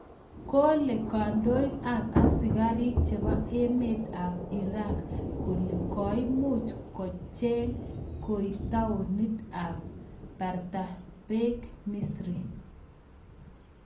Kole kandoik AP askarik chebo emet AP Iraq kole koimuch I check koiib taonit ab bartellabeng misiri